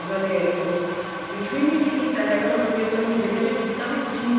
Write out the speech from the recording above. ਉਹਨਾ ਨੇ ਉਹ ਕੁੱਝ ਵੀ ਨੀ ਸੀ ਕੀਤਾ ਹੈਗਾ ਮਤਲਬ ਕੇ ਉਹਨੇ ਮੁੰਡੇ ਨੇ ਹਜੇ ਕੀਤਾ ਵੀ ਕੁੱਝ ਨੀ